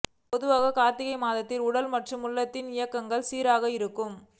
பொதுவாக காா்த்திகை மாதத்தில் உடல் மற்றும் உள்ளத்தின் இயக்கம் சீராக இருக்கும்